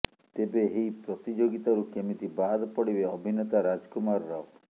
ତେବେ ଏହି ପ୍ରତିଯୋଗୀତାରୁ କେମିତି ବାଦ୍ ପଡିବେ ଅଭିନେତା ରାଜ୍ କୁମାର୍ ରାଓ